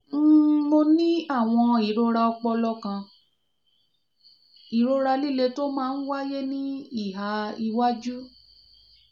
um mo ní àwọn ìrora ọpọlọ kan: ìrora líle tó máa ń wáyé ní ìhà iwájú